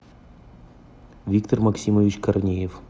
виктор максимович корнеев